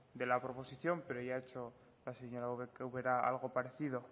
de la proposición pero ya ha hecho la señora ubera algo parecido